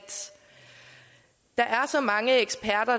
så mange eksperter